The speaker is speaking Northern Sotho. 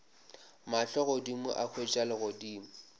mahlo godimo a hwetša legodimo